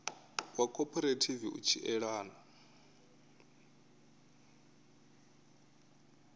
wa khophorethivi u tshi elana